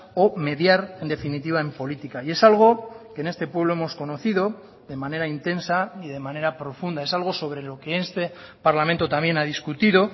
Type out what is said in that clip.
o mediar en definitiva en política y es algo que en este pueblo hemos conocido de manera intensa y de manera profunda es algo sobre lo que este parlamento también ha discutido